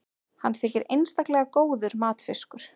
hann þykir einstaklega góður matfiskur